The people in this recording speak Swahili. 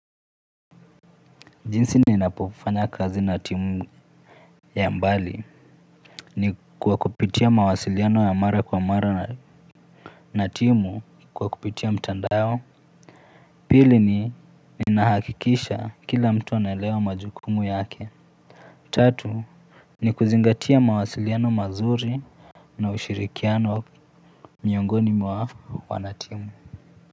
Jinsi ninapofanya kazi na timu ya mbali ni kwa kupitia mawasiliano ya mara kwa mara na timu kwa kupitia mtandao. Pili ni ninahakikisha kila mtu anaelewa majukumu yake. Tatu ni kuzingatia mawasiliano mazuri na ushirikiano miongoni mwa wanatimu.